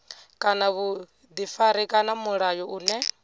kana vhuḓifari kana mulayo une